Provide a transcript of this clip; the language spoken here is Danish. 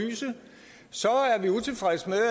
så synes